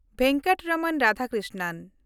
Venkataraman Radhakrishnan